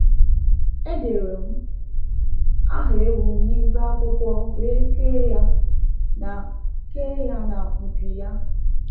Edere m aha ewu m n’ibe akwụkwọ wee kee ya na kee ya na mpi ya.